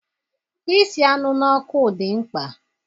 Isi anụ n'ọkụ dị mkpa